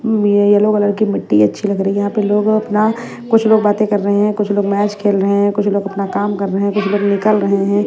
ये yellow colour की मिट्टी अच्छी लग रही है यहां पे लोग अपना कुछ लोग बातें कर रहे हैं कुछ लोग मैच खेल रहे हैं कुछ लोग अपना काम कर रहे हैं कुछ लोग निकल रहे हैं।